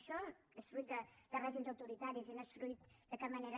això és fruit de règims autoritaris i no és fruit de cap manera